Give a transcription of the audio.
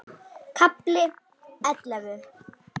KAFLI ELLEFU